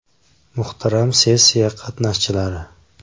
Muhtaram sessiya qatnashchilari!